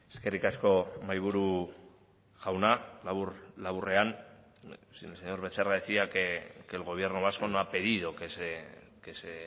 eskerrik asko mahaiburu jauna labur laburrean el señor becerra decía que el gobierno vasco no ha pedido que se